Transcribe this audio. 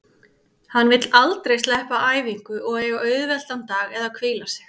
Hann vill aldrei sleppa æfingu og eiga auðveldan dag eða hvíla sig.